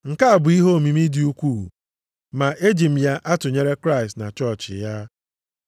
Nke a bụ ihe omimi dị ukwuu ma eji m ya atụnyere Kraịst na chọọchị ya.